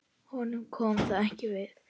Honum kom það ekki við.